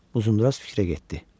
Uzundraz fikrə getdi.